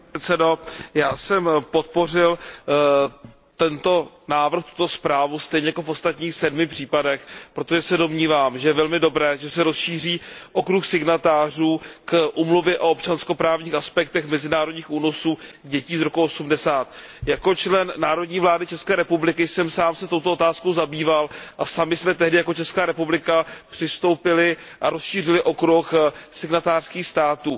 Pane předsedající, já jsem podpořil tento návrh, tuto zprávu, stejně jako v ostatních sedmi případech, protože se domnívám, že je velmi dobré, že se rozšíří okruh signatářů Úmluvy o občanskoprávních aspektech mezinárodních únosů dětí z roku 1980. Jako člen národní vlády České republiky jsem se sám touto otázkou zabýval a sami jsme tehdy jako Česká republika přistoupili a rozšířili okruh signatářských států.